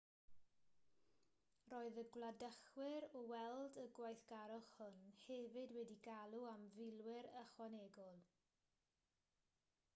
roedd y gwladychwyr o weld y gweithgarwch hwn hefyd wedi galw am filwyr ychwanegol